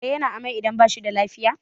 kare yana amai idan ba shi da lafiya